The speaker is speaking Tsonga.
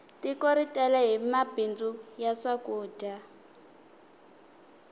tiko ri tele hi mabindzu ya swakudya